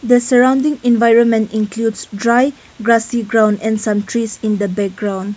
the surrounding environment includes dry grassy ground and some trees in the background.